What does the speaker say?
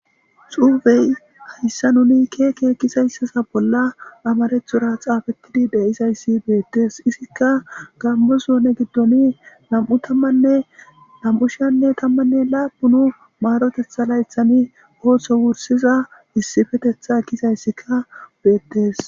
Xuufey hayssa nuni keeke kizayssasa bolla amarethura xaafettidi deizayssi beettes isikka gammosone giddon nam'u tammanne nam'u shiyanne tammanne laapunu maarotetha laythani ooththo wursiza issifetetha kizayssika beettes.